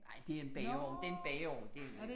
Ej det en bageovn det en bageovn det